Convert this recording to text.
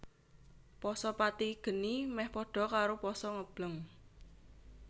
Pasa pati geni mèh pada karo pasa ngebleng